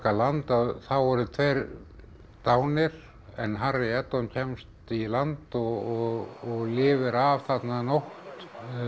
land þá voru tveir dánir en Harry kemst í land og lifir af þarna nótt